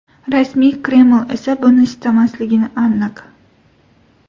Rasmiy Kreml esa buni istamasligi aniq.